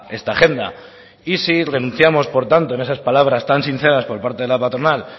esta agenda y si renunciamos por tanto en esas palabras tan sinceras por parte de la patronal